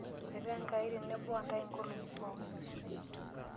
Metaa enkai tenebo nrae inkolong'i pookin.